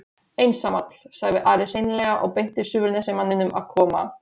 Einsamall, sagði Ari seinlega og benti Suðurnesjamanninum að koma.